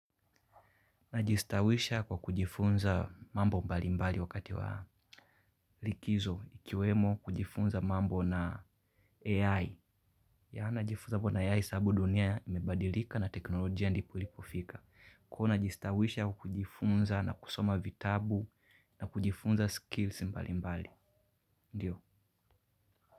Najistawisha kwa kujifunza mambo mbali mbali wakati wa likizo ikiwemo kujifunza mambo na AI. Ya najifunza mambo na AI sababu dunia imebadilika na teknolojia ndipo lipofika. Kwa najistawisha au kujifunza na kusoma vitabu na kujifunza skills mbali mbali. Ndiyo.